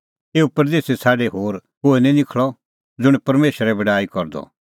एऊ परदेसी छ़ाडी होर कोहै निं निखल़अ ज़ुंण परमेशरे बड़ाई करदअ